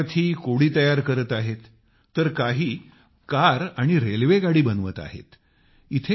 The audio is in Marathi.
काही विद्यार्थी कोडे तयार करत आहेत तर काही कार आणि रेल्वेगाडी बनवत आहेत